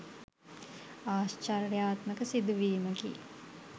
ආශ්චර්යාත්මක සිදුවීමකි.